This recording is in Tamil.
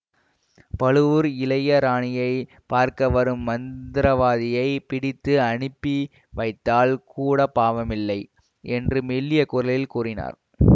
பழுவூர் இளைய ராணியை பார்க்க வரும் மந்திரவாதியைப் பிடித்து அனுப்பி வைத்தால் கூட பாவமில்லை என்று மெல்லிய குரலில் கூறினார்